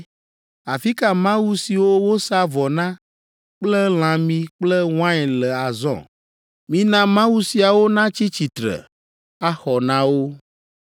Afi ka mawu siwo wosaa vɔ na kple lãmi kple wain le azɔ? Mina mawu siawo natsi tsitre, axɔ na wo!